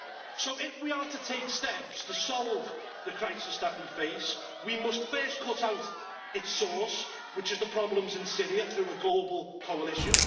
So, if we are to take steps to solve the crisis that we face, we must first cut out its source which is the problems in Syria through a global coalition.